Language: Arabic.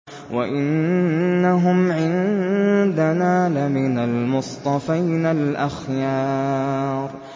وَإِنَّهُمْ عِندَنَا لَمِنَ الْمُصْطَفَيْنَ الْأَخْيَارِ